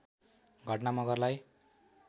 घटना मगरलाई